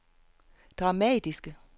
dramatiske